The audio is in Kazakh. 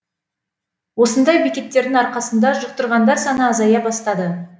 осындай бекеттердің арқасында жұқтырғандар саны азая бастады